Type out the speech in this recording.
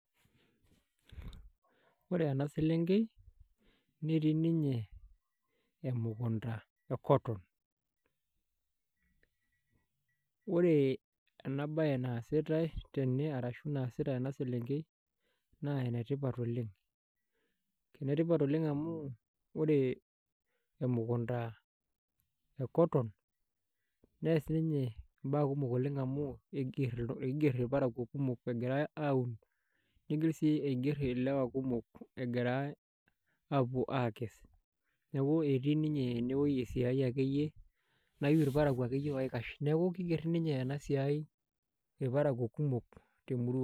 Ore ena selenkei netii ninye emukunta e cotton ore ena bae naasitai tene ashu naasita ena selenkei naa enetipat oleng', enetipat oleng' amu ore emukunta e cotton neas ninye imbaa kumok amu eiger ilparakuo kumok egirai aaun niigil sii aiger ilewa kumok egirai apuo aakes. Neeku etii ninye enewoji esiai akeyie nayieu ilparakuo akeyie oikash. Neeku kiiger ninye ena siai ilparakuo kumok temurrua.